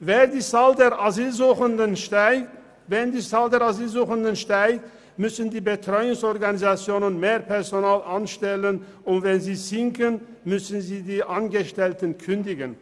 Wenn die Zahl der Asylsuchenden steigt, müssen die Betreuungsorganisationen mehr Personal anstellen, und wenn sie sinken, müssen sie ihren Angestellten kündigen.